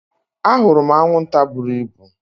Ahụrụ m anwụnta buru ibu